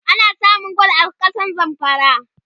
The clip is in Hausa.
ana samun gwal a kasar zamfara